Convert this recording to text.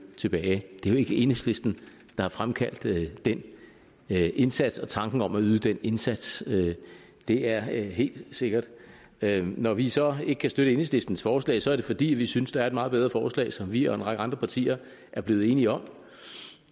tilbage det er jo ikke enhedslisten der har fremkaldt den indsats og tanken om at yde den indsats det er helt sikkert når vi så ikke kan støtte enhedslistens forslag er det fordi vi synes der er et meget bedre forslag som vi og en række andre partier er blevet enige om